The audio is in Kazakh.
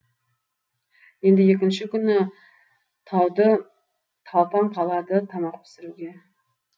енді екінші күні таудыталпаң қалады тамақ пісіруге